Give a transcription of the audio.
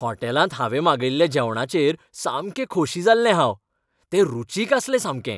हॉटेलांत हांवें मागयल्ल्या जेवणाचेर सामकें खोशी जाल्लें हांव. तें रुचीक आसलें सामकें.